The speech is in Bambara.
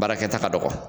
Baarakɛta ka dɔgɔ